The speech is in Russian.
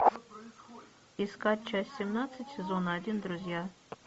искать часть семнадцать сезона один друзья